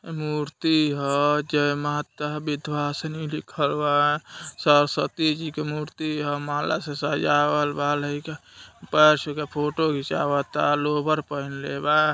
मूर्ति ह जय माता विधवासनी लिखल बा सरस्वती जी के मूर्ति ह माला से सजावल बा लइका पैर छू के फोटो घीचावता लोअर पहिनले बा।